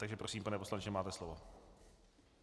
. Takže prosím, pane poslanče, máte slovo.